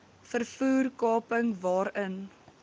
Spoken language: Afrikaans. vervoer kaping waarin